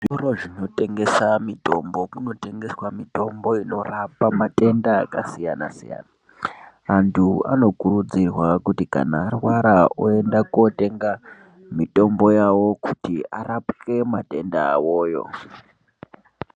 Zvitoro zvinotengesa mitombo kunotengeswa mitombo inorapa matenda akasiyana -siyana. Antu anokurudzirwa kuti arwara oende kotenga mitombo yawo kuti arapwe matenda awoyo.